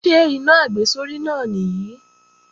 Ṣé iná àgbésórí náà nìí?